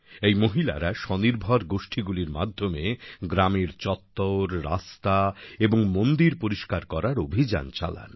এই মহিলারা স্বনির্ভর গোষ্ঠীগুলির মাধ্যমে গ্রামের চত্বর রাস্তা এবং মন্দির পরিষ্কার করার অভিযান চালান